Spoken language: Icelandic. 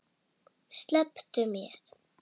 Slepptu mér!